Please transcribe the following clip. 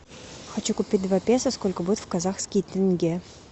хочу купить два песо сколько будет в казахский тенге